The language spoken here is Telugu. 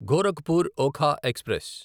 గోరఖ్పూర్ ఒఖా ఎక్స్ప్రెస్